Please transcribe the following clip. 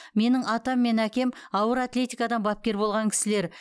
менің атам мен әкем ауыр атлетикадан бапкер болған кісілер